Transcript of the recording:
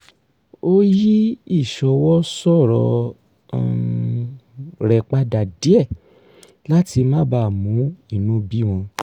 ó yí ìsọwọ sọ̀rọ̀ um rẹ̀ padà díẹ̀ láti má bàa mú inú bí wọn